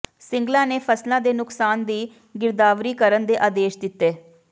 ਸਿੰਗਲਾ ਨੇ ਫ਼ਸਲਾਂ ਦੇ ਨੁਕਸਾਨ ਦੀ ਗਿਰਦਾਵਰੀ ਕਰਨ ਦੇ ਆਦੇਸ਼ ਦਿੱਤੇ